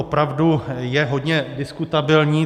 Opravdu je hodně diskutabilní.